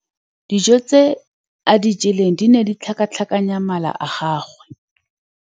Dijô tse a di jeleng di ne di tlhakatlhakanya mala a gagwe.